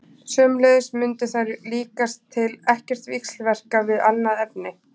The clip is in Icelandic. Sömuleiðis mundu þær líkast til ekkert víxlverka við annað efni.